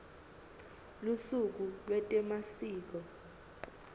lusuku lwetemasiko